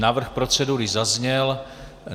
Návrh procedury zazněl.